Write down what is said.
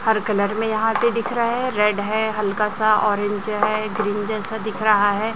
हर colour में यहां पे दिख रहा है रेड है हल्का सा ऑरेंज है ग्रीन जैसा दिख रहा है।